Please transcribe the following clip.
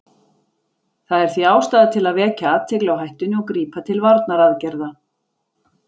Það er því ástæða til að vekja athygli á hættunni og grípa til varnaraðgerða.